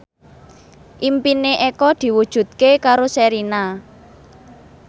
impine Eko diwujudke karo Sherina